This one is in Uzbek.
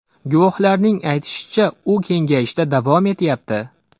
Guvohlarning aytishicha, u kengayishda davom etyapti.